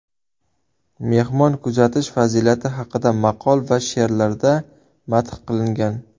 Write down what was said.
Mehmon kutish fazilati haqida maqol va she’rlarda madh qilingan.